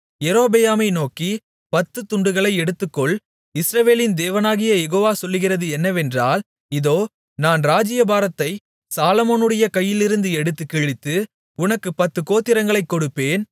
யெரொபெயாமை நோக்கி பத்துத்துண்டுகளை எடுத்துக்கொள் இஸ்ரவேலின் தேவனாகிய யெகோவா சொல்லுகிறது என்னவென்றால் இதோ நான் ராஜ்ஜியபாரத்தைச் சாலொமோனுடைய கையிலிருந்து எடுத்துக் கிழித்து உனக்குப் பத்துக் கோத்திரங்களைக் கொடுப்பேன்